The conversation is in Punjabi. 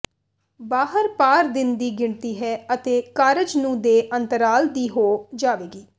ਬਾਹਰ ਪਾਰ ਦਿਨ ਦੀ ਗਿਣਤੀ ਹੈ ਅਤੇ ਕਾਰਜ ਨੂੰ ਦੇ ਅੰਤਰਾਲ ਦੀ ਹੋ ਜਾਵੇਗਾ